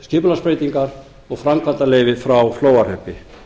skipulagsbreytingar og framkvæmdaleyfi frá flóahreppi